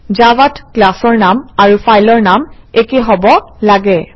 জাভাত ক্লাছৰ নাম আৰু ফাইলৰ নাম একে হব লাগে